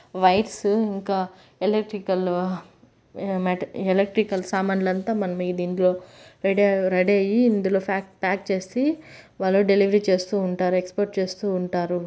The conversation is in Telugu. వైట్ స్ ఇంకా ఎలక్ట్రికల్-- ఎలక్ట్రికల్ సామాన్లంతా మనం దీంట్లో రెడీ-- రెడీ అయి ఇందులో ప్యాక్ చేసి డెలివరీ చేస్తూ ఉంటారు. ఎక్స్పోర్ట్ చేస్తూ ఉంటారు.